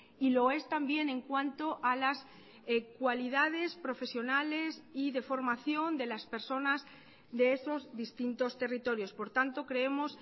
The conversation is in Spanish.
y lo es también en cuanto a las cualidades profesionales y de formación de las personas de esos distintos territorios por tanto creemos